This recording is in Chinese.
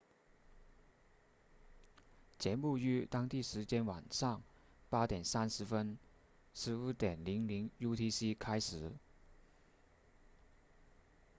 节目于当地时间晚上 8:30 15.00 utc 开始